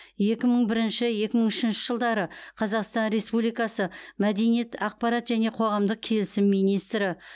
екі мың бірінші екі мың үшінші жылдары қазақстан республикасы мәдениет ақпарат және қоғамдық келісім министрі